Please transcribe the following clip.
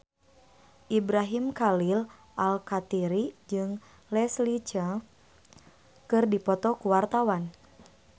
Ibrahim Khalil Alkatiri jeung Leslie Cheung keur dipoto ku wartawan